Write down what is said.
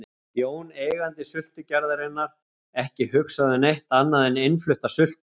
Jón, eigandi sultugerðarinnar, ekki hugsað um neitt annað en innflutta sultu.